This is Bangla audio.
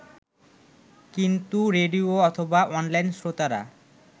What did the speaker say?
কিন্তু রেডিও অথবা অনলাইন শ্রোতারা